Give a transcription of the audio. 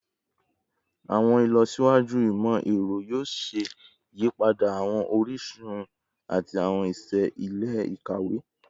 Awọn ilọsiwaju imọ-ẹrọ yoo ṣe iyipada awọn orisun ati awọn iṣẹ ile-ikawe